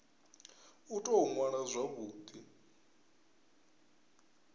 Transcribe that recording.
u tou ṅwala zwavhu ḓi